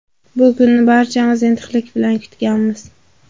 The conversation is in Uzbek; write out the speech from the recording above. Bu kunni barchamiz intiqlik bilan kutganmiz.